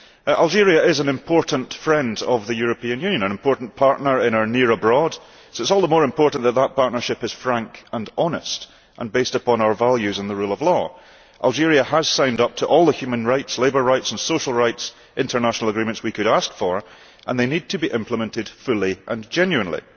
Algeria is an important friend of the European Union, an important partner in our near abroad', so it is all the more important that that partnership is frank and honest, and based upon our values and the rule of law. Algeria has signed up to all the international agreements on human rights, labour rights and social rights that we could ask for, and they need to be implemented fully and genuinely.